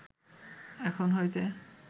এখন হইতে